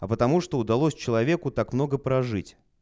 а потому что удалось человеку так много прожить